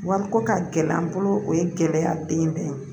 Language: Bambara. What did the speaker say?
Wa ko ka gɛlɛ an bolo o ye gɛlɛya den dɔ ye